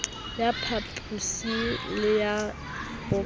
ya papiso le ya boqapi